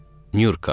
Nyurka.